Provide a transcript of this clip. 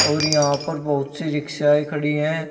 और यहां पर बहुत सी रिक्शाए खड़ी है।